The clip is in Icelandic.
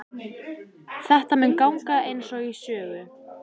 Þetta mun ganga einsog í sögu.